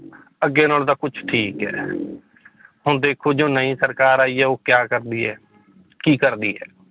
ਅੱਗੇ ਨਾਲੋਂ ਤਾਂ ਕੁਛ ਠੀਕ ਹੈ ਹੁਣ ਦੇਖੋ ਜੋ ਨਈਂ ਸਰਕਾਰ ਆਈ ਹੈ ਉਹ ਕਿਆ ਕਰਦੀ ਹੈ ਕੀ ਕਰਦੀ ਹੈ।